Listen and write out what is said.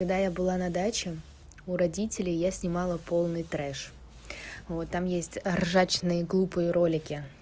когда я была на даче у родителей я снимала полный трэш вот там есть ржачные глупые ролики